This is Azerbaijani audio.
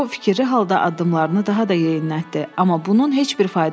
O fikirli halda addımlarını daha da yeyinlətdi, amma bunun heç bir faydası yox idi.